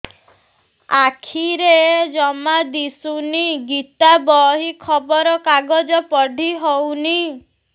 ଆଖିରେ ଜମା ଦୁଶୁନି ଗୀତା ବହି ଖବର କାଗଜ ପଢି ହଉନି